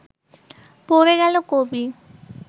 পড়ে গেল কবি